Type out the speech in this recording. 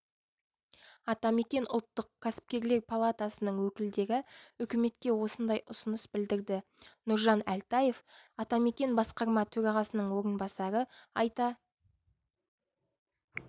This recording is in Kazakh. атамекен ұлттық кәсіпкерлер палатасының өкілдері үкіметке осындай ұсыныс білдірді нұржан әлтаев атамекен басқарма төрағасының орынбасары айта